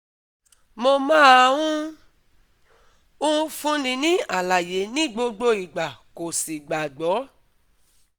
Mo máa ń ń fúnni ní àlàyé ní gbogbo ìgbà kò sì gbàgbọ́